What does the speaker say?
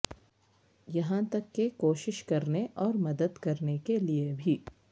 یہاں تک کہ کوشش کرنے اور مدد کرنے کے لئے بھی